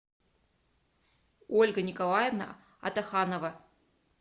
ольга николаевна атаханова